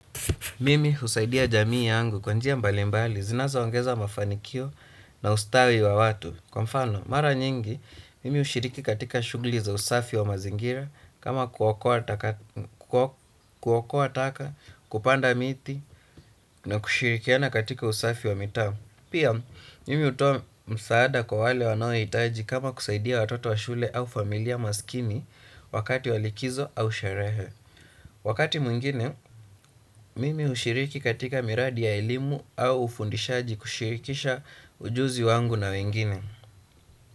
Mimi husaidia jamii yangu kwa njia mbalimbali zinazoongeza mafanikio na ustawi wa watu. Kwa mfano, mara nyingi, mimi hushiriki katika shughuli za usafi wa mazingira, kama kuokoa taka, kupanda miti na kushirikiana katika usafi wa mitaa. Pia, mimi hutoa msaada kwa wale wanaohitaji kama kusaidia watoto wa shule au familia masikini wakati wa likizo au sherehe. Wakati mwingine, mimi hushiriki katika miradi ya elimu au ufundishaji kushirikisha ujuzi wangu na wengine.